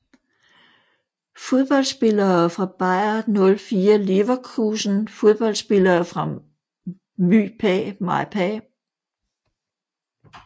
Fodboldspillere fra Bayer 04 Leverkusen Fodboldspillere fra MyPa